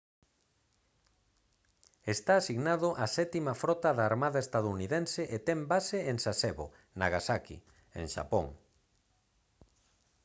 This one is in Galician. está asignado á sétima frota da armada estadounidense e ten base en sasebo nagasaki en xapón